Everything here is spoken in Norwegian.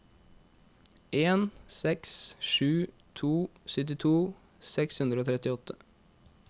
en seks sju to syttito seks hundre og trettiåtte